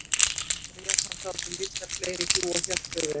Réð hann þá til vistar fleiri hjú og hélt þau vel.